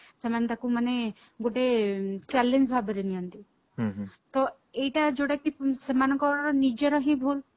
ସେମାନେ ତାକୁ ମାନେ ଗୋଟେ challenge ଭାବରେ ନିଅନ୍ତି ଏଇଟା ଯୋଉଟା କି ସେମାନଙ୍କର ନିଜର ହିଁ ଭୁଲ